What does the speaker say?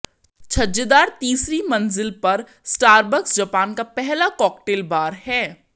छज्जेदार तीसरी मंजिल पर स्टारबक्स जापान का पहला कॉकटेल बार है